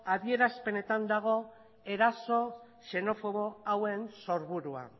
adierazpenetan dago eraso xenofobo hauen sorburua